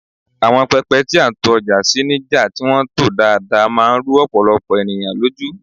awon pepe ti a n to oja si ni ja ti won to daadaa man ru opolopo eniyan loju